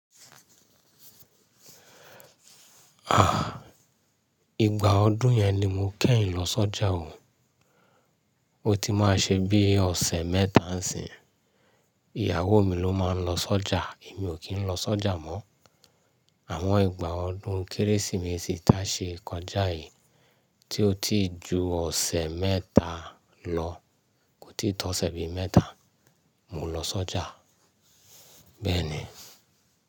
À, ìgbà ọdún yẹn ni mo kẹ́yìn lọ sọ́jà o. O ti máa ṣe bí ọ̀sẹ̀ mẹ́ta n sin. Ìyàwó mi ló máa ń lọ sọ́jà, èmi ò kí ń lọ sọ́jà mọ́. Àwọn ìgbà ọdún kérésìmesì tí a ṣe kọjá yìí tí ó ti ju ọ̀sẹ̀ mẹ́ta lọ, kò tí tó ọ̀sẹ̀ bí mẹ́ta mo lọ sọ́jà bẹ́ẹ̀ni.